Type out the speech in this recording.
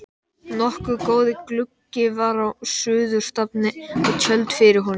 Nokkuð góður gluggi var á suðurstafni og tjöld fyrir honum.